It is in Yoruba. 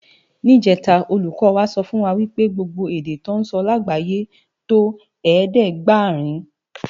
Nijètá ólúkò wá sòfúnwá wipé gbógbó èdè tò nsò lágbáyé tó ẹ̀ẹ́dẹ́ɡbarin